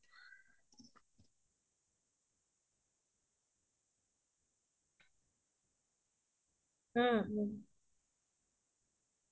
হয় হয় আৰু বাহিৰা খাদ্যত আজিকালি আজিনাম্তো বহুত কে ৱ্যাবহাৰ কৰা হয় যোনতোয়ে আমাৰ শৰিৰত বহুত খ্যতি কৰে